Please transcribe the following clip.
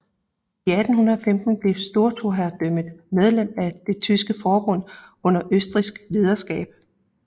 I 1815 blev storhertugdømmet medlem af Det Tyske Forbund under østrigsk lederskab